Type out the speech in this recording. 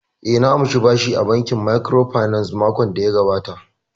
Eh, na ansa bashi a bankin microfinance makon daya gabata